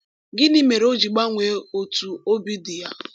Gịnị mere o ji gbanwee otú obi dị ya?